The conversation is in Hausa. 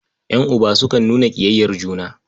Ƴan'uba sukan nuna ƙiyayyar juna.